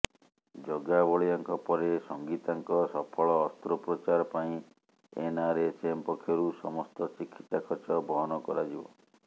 ଜଗାବଳିଆଙ୍କ ପରେ ସଙ୍ଗୀତାଙ୍କ ସଫଳ ଅସ୍ତ୍ରୋପଚାର ପାଇଁ ଏନ୍ଆରଏଚ୍ଏମ୍ ପକ୍ଷରୁ ସମସ୍ତ ଚିକିତ୍ସା ଖର୍ଚ୍ଚ ବହନ କରାଯିବ